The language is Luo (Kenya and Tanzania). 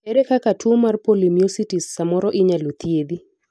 ere kaka tuo mar polymyositis samoro inyalo thiedhi